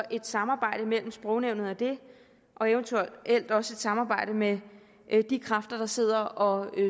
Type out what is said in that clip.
et samarbejde mellem sprognævnet og det og eventuelt også et samarbejde med de kræfter der sidder og